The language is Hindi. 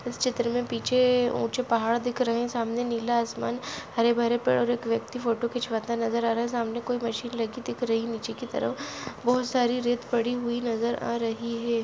इस चित्र में पीछे ऊंचे पहाड़ दिख रहे हैं सामने नीला आसमान हरे भरे पेड़ और एक व्यक्ति फोटो खिंचवाता नजर आ रहा है सामने कोई मशीन लगी दिख रही है नीचे की तरफ बहुत सारी रेत पड़ी हुई नजर आ रही हैं।